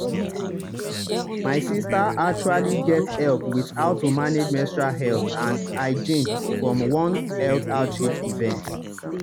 my sister actually get help with how to manage menstrual health and and um hygiene from one health outreach event.